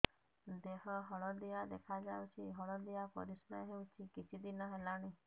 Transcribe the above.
ଦେହ ହଳଦିଆ ଦେଖାଯାଉଛି ହଳଦିଆ ପରିଶ୍ରା ହେଉଛି କିଛିଦିନ ହେଲାଣି